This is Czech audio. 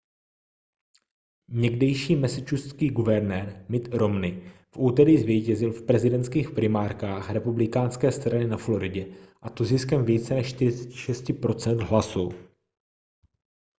někdejší massachusettský guvernér mitt romney v úterý zvítězil v prezidentských primárkách republikánské strany na floridě a to ziskem více než 46 % hlasů